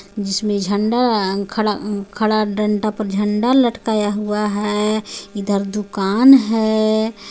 इसमें झंडा खड़ा-खड़ा डंडा पर झंडा लटकाया हुआ है इधर दुकान है.